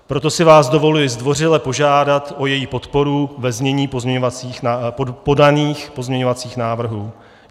Proto si vás dovoluji zdvořile požádat o její podporu ve znění podaných pozměňovacích návrhů.